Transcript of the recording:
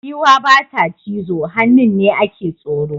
Giwa ba ta cizo, hannun ne a ke tsoro.